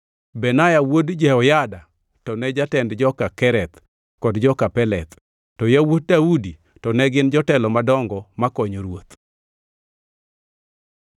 Benaya wuod Jehoyada to ne jatend joka Kereth kod joka Peleth, to yawuot Daudi to ne gin jotelo madongo makonyo ruoth.